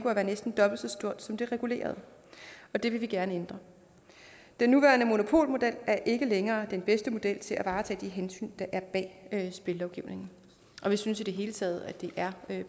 at være næsten dobbelt så stort som det regulerede og det vil vi gerne ændre den nuværende monopolmodel er ikke længere den bedste model til at varetage de hensyn der er bag spillelovgivningen vi synes i det hele taget at det er